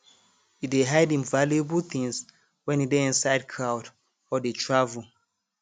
e dey hide im valuable things when e dey inside crowd or dey travel